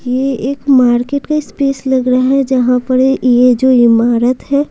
ये एक मार्केट का स्पेस लग रहा है जहां पर ये जो इमारत है।